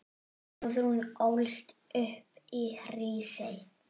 Guðrún ólst upp í Hrísey.